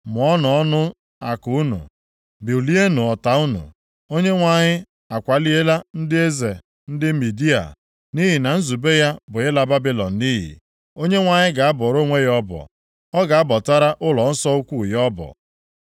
“Mụọnụ ọnụ àkụ unu; bulienụ ọta unu! Onyenwe anyị akwaliela ndị eze ndị Midia, nʼihi na nzube ya bụ ịla Babilọn nʼiyi. Onyenwe anyị ga-abọrọ onwe ya ọbọ, ọ ga-abọtara ụlọnsọ ukwu ya ọbọ.